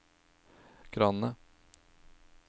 kranene